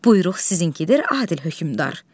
Buyruq sizinkidir, Adil Hökmran.